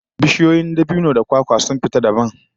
Bishiyoyi dangin dabino da kwakwa sun fita dabam, kuma suna yaduwa a duniya